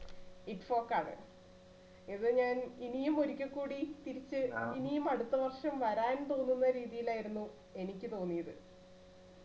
ഇപ്പൊകാണെ ഇത് ഞാൻ ഇനിയും ഒരിക്കെ കൂടി തിരിച്ച് ഇനിയും അടുത്ത വർഷം വരാൻ തോന്നുന്ന രീതിയിൽ ആയിരുന്നു എനിക്ക് തോന്നിയത്